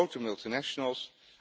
Dat zijn de grote multinationals.